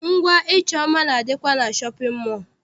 Ngwa ịchọ mma na- adịkwa na shọpịn mọọ.